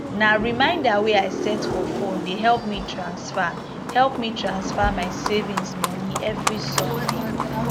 na reminder wey i set for phone dey help me transfer help me transfer my savings moni evri sunday